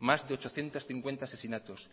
más de ochocientos cincuenta asesinatos